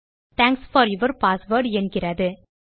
thanks for your password என்கிறது